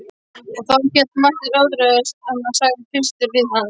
Og þá, hélt Marteinn ótrauður áfram,-sagði Kristur við hann.